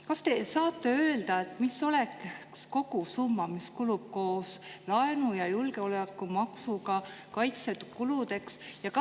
" Kas te saate öelda, mis oleks kogusumma, mis kulub koos laenu ja julgeolekumaksuga kaitsekuludeks?